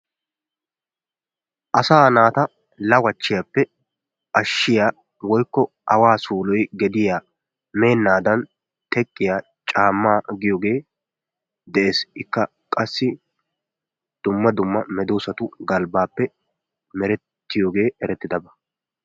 Asa naata lawachiyappe ashshiya woykko awaa suloy gediyaa meennadan teqqiya caammaa giyoge de'ees. Ikka qassi dumma dumma medosatu galbbappe merettiyoge eretidaba.